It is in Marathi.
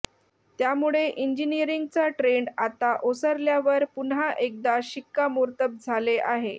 त्यामुळे इंजिनीअरिंगचा ट्रेण्ड आता ओसरल्यावर पुन्हा एकदा शिक्कामोर्तब झाले आहे